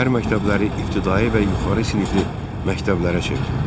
Şəhər məktəbləri ibtidai və yuxarı sinifli məktəblərə çevrildi.